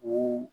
O